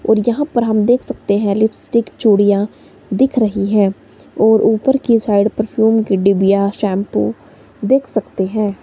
और यहां पर हम देख सकते हैं लिपस्टिक चूड़ियां दिख रही है और ऊपर की साइड परफ्यूम की डिबिया शैंपू देख सकते हैं।